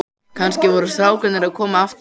Kannski voru strákarnir að koma aftur.